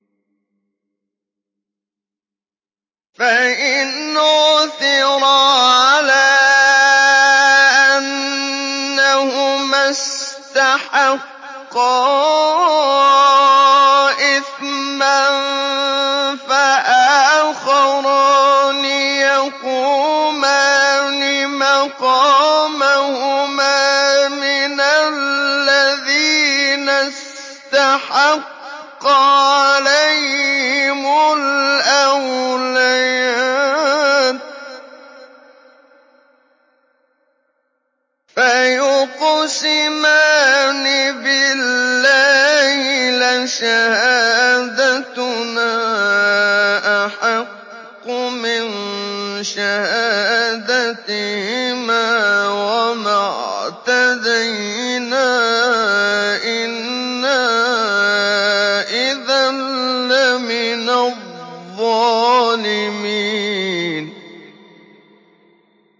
فَإِنْ عُثِرَ عَلَىٰ أَنَّهُمَا اسْتَحَقَّا إِثْمًا فَآخَرَانِ يَقُومَانِ مَقَامَهُمَا مِنَ الَّذِينَ اسْتَحَقَّ عَلَيْهِمُ الْأَوْلَيَانِ فَيُقْسِمَانِ بِاللَّهِ لَشَهَادَتُنَا أَحَقُّ مِن شَهَادَتِهِمَا وَمَا اعْتَدَيْنَا إِنَّا إِذًا لَّمِنَ الظَّالِمِينَ